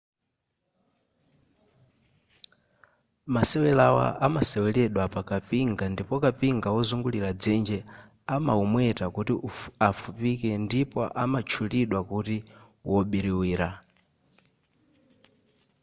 masewelawa amaseweledwa pa kapinga ndipo kapinga wozungulira dzenje amaumweta kuti afupike ndipo amatchulidwa kuti wobiriwira